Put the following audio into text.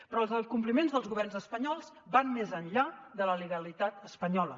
però els incompliments dels governs espanyols van més enllà de la legalitat espanyola